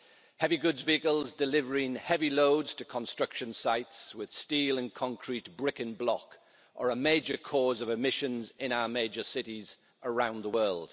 Heavy goods vehicles delivering heavy loads to construction sites with steel and concrete, brick and block are a major cause of emissions in our major cities around the world.